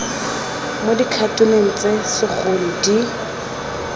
mo dikhatoneng tse segolo di